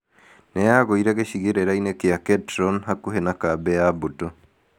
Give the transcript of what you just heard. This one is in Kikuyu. Nĩ yagũire gĩcigĩrĩra-inĩ kĩa Ketron hakuhĩ na kambĩ ya mbũtũ.